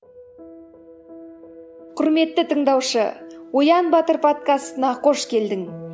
құрметті тыңдаушы оян батыр подкастына қош келдің